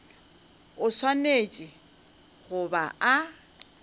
o swanetše go ba a